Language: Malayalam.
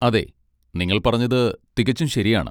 അതെ, നിങ്ങൾ പറഞ്ഞത് തികച്ചും ശരിയാണ്.